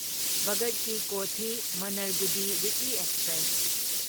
ꯚꯒꯠ ꯀꯤ ꯀꯣꯊꯤ ꯃꯥꯟꯅꯔꯒꯨꯗꯤ weekly express